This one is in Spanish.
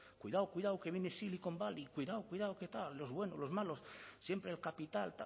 cuidado cuidado que viene silicon valley cuidado cuidado que tal los buenos los malos siempre el capital